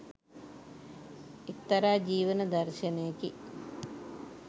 එක්තරා ජීවන දර්ශණයකි